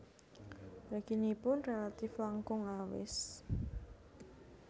Reginipun rélatif langkung awis